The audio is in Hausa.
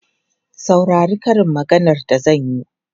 Saurari karin maganar da zan yi!